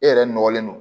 E yɛrɛ nɔgɔlen don